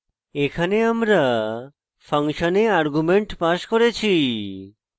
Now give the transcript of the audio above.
এখানে আমরা function arguments passed করেছি